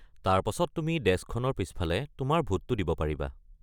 তাৰ পাছত তুমি ডেস্কখনৰ পিছফালে তোমাৰ ভোটটো দিব পাৰিবা।